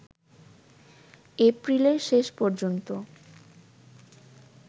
এপ্রিলের শেষ পর্যন্ত